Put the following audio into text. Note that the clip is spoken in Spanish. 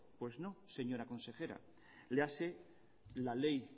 pues no señora consejera léase la ley